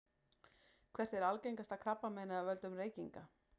hvert er algengasta krabbameinið af völdum reykinga